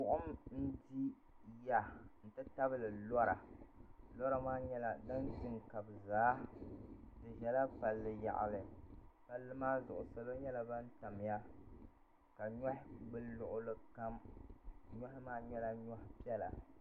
Buɣim n di ya n ti tabili lora lora maa nyɛla din di n kabi zaa di zala palli yaɣali palli maa zuɣu salo nyɛla ban tamya ka nyɔhi gbuli luɣuli kam nyɔhi maa nyɛla nyɔhi piɛla.